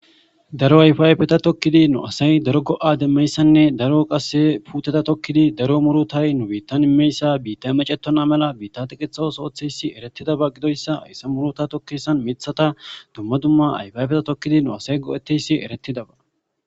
Daro ayfaayfeta tokkidi nu asay daro go'a demmeyssanne daro qasse puteta tokkidi daro muru tay nu biittan immeyssa biitta macetona mala biitta tiqethas ootheyssi eretidaba gidoyssa hayssa muro ta tokkeysan mithata dumma dumma ayfayfeta tokkidi nu asay go'eteyssi eretidaba